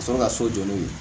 Ka sɔrɔ ka so jɔ n'o ye